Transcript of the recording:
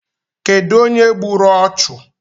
Kedụ onye gburu ọchụ?